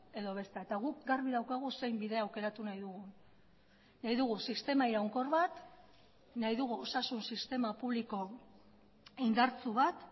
edo bestea eta guk garbi daukagu zein bide aukeratu nahi dugu nahi dugu sistema iraunkor bat nahi dugu osasun sistema publiko indartsu bat